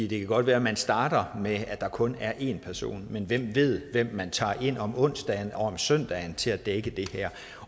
det kan godt være at man starter med at der kun er én person men hvem ved hvem man tager ind om onsdagen og om søndagen til at dække det her